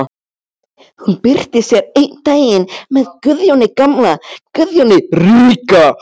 Hún birtist hér einn daginn með Guðjóni gamla, Guðjóni ríka.